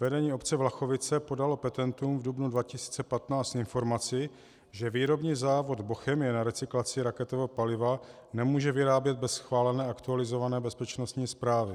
Vedení obce Vlachovice podalo petentům v dubnu 2015 informaci, že výrobní závod Bochemie na recyklaci raketového paliva nemůže vyrábět bez schválené aktualizované bezpečnostní zprávy.